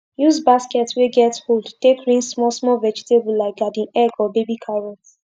use basket wey get hold take rinse small small vegetable like garden egg or baby carrot